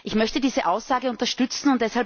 Ich möchte diese Aussage unterstützen.